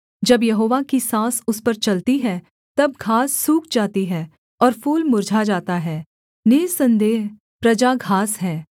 जब यहोवा की साँस उस पर चलती है तब घास सूख जाती है और फूल मुर्झा जाता है निःसन्देह प्रजा घास है